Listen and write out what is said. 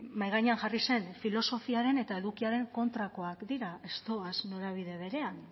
mahai gainean jarri zen filosofiaren eta edukiaren kontrakoak dira ez doaz norabide berean